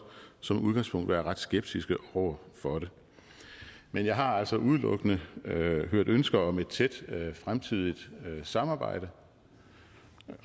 som udgangspunkt ville være ret skeptiske over for det men jeg har altså udelukkende hørt ønsker om et tæt fremtidigt samarbejde